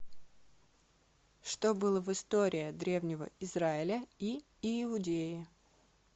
что было в история древнего израиля и иудеи